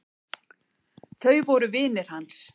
Þau voru vinir hans.